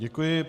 Děkuji.